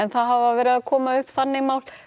það hafa verið að koma upp þannig mál